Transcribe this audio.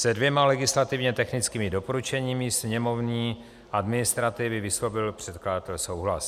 Se dvěma legislativně technickými doporučeními sněmovní administrativy vyslovil předkladatel souhlas.